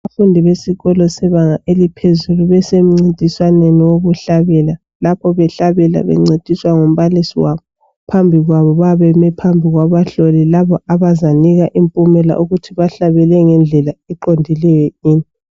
Abafundi besikolo sebanga eliphezulu besemncintiswaneni wokuhlabela lapho behlabela bencediswa ngumbalisi wabo. Phambi kwabo bayabe beme phambi kwaba hloli labo abazanika impumela ukuthi bahlabele ngendlela eqondileyo yini.